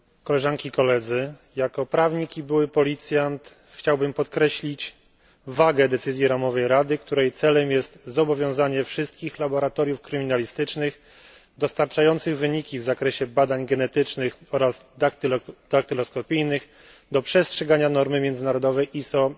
Jako prawnik i były policjant chciałbym podkreślić wagę decyzji ramowej Rady, której celem jest zobowiązanie wszystkich laboratoriów kryminalistycznych dostarczających wyniki w zakresie badań genetycznych oraz daktyloskopijnych do przestrzegania normy międzynarodowej ISO